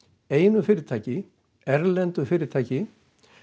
einu fyrirtæki erlendu fyrirtæki